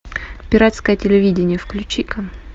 пиратское телевидение включи ка